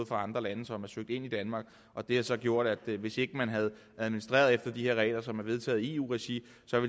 fra andre lande som er søgt ind i danmark og det har så gjort at det hvis ikke man havde administreret efter de her regler som er vedtaget i eu regi